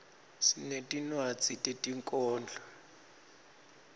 sinetinwadzi tetinkhondlo